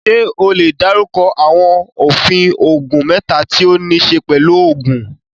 Ṣé o lè dárúkọ àwọn òfin oògùn mẹ́ta tí ó níí ṣe pẹ̀lú òògùn?